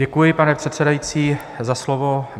Děkuji, pane předsedající, za slovo.